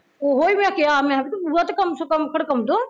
ਓਹੀ ਮੈਂ ਕਿਹਾ ਮੈਂ ਕਿਹਾ ਤੂੰ ਬੂਹਾ ਤੇ ਕਮ ਸੇ ਕਮ ਖੜਕਾਉਂਦਾ